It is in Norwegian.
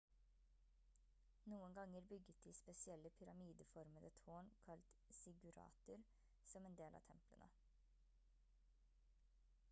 noen ganger bygget de spesielle pyramideformede tårn kalt ziggurater som del av templene